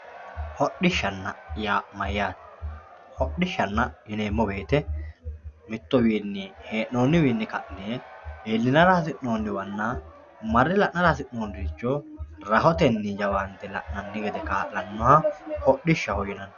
hodhishshanna yaa mayyaate hodhishshanna yineemmo wote mittowiinni hee'noonniwiinni ka'ne iillinara hasi'nooniwanna marre la'nara hasi'noonniricho rahotenni jawaante la'nanni gede kaa'lannoha hodhishshaho yinanni.